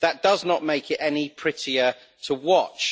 That does not make it any prettier to watch.